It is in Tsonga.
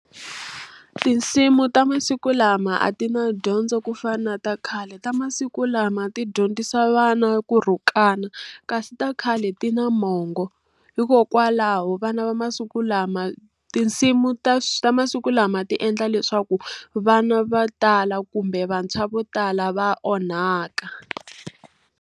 Tinsimu ta masiku lama a ti na dyondzo ku fana na ta khale ta masiku lama ti dyondzisa vana ku rhukana, kasi ta khale ti na mongo. Hikokwalaho vana va masiku lama, tinsimu ta ta masiku lama ti endla leswaku vana vo tala kumbe vantshwa vo tala va onhaka.